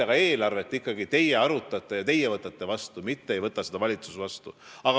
Aga eelarvet ikkagi arutate teie ja võtate selle vastu, seda ei võta vastu valitsus.